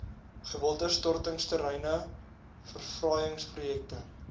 gewilde stortingsterreine verfraaiingsprojekte